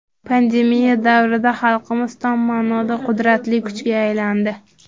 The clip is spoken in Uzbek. Pandemiya davrida xalqimiz tom ma’noda qudratli kuchga aylandi.